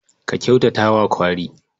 Ka kyautata wa kwari.